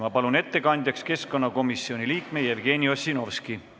Kutsun ettekandjaks keskkonnakomisjoni liikme Jevgeni Ossinovski.